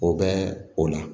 O bɛ o la